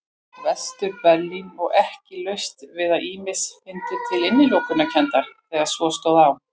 Vestur-Berlín og ekki laust við að ýmsir fyndu til innilokunarkenndar þegar svo stóð á.